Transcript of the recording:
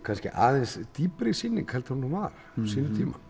kannski aðeins dýpri sýning en hún var á sínum tíma